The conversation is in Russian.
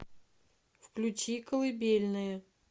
включи колыбельная